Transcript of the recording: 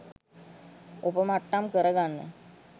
ඔපමට්ටම් කරගන්න